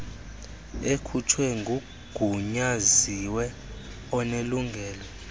ekhutshwe ngugunyaziwe onelungelo